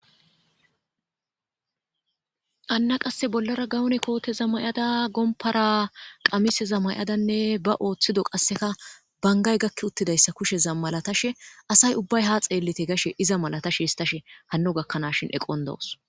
anna qasse bollara gawone kooteza may7ada gompara qamiseza may7adanne ba ooththido qasseka bangay gakki uttidayssa kusheza malatashe asay ubbay ha xeellite gashe iza malatashe histashe hanno gakkanashin eqon dawos